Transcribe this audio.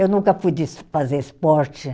Eu nunca fui de se fazer esporte.